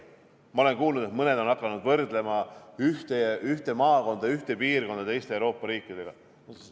Ma olen kuulnud, et mõned on hakanud võrdlema ühte maakonda, ühte piirkonda teiste Euroopa riikidega.